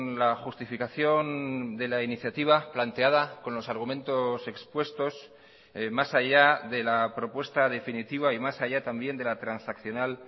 la justificación de la iniciativa planteada con los argumentos expuestos más allá de la propuesta definitiva y más allá también de la transaccional